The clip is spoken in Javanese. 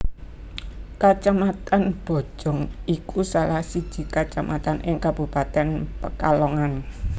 Kacamatan Bojong iku salah siji kacamatan ing kabupatèn Pekalongan